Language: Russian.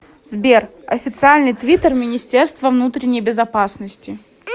сбер официальный твиттер министерство внутренней безопасности